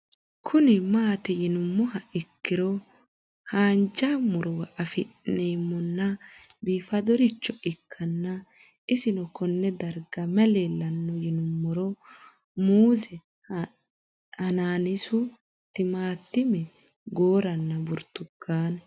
Kuni mati yinumoha ikiro hanja murowa afine'mona bifadoricho ikana isino Kone darga mayi leelanno yinumaro muuze hanannisu timantime gooranna buurtukaane